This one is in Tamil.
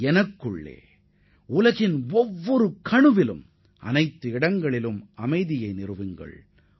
எனக்குள்ளும் உங்களுக்குள்ளும் உள்ள ஒவ்வொரு ஆன்மா ஒவ்வொரு இதயம் மற்றும் இந்த பேரண்டம் எங்கிலும் அமைதி நிலவ வேண்டும்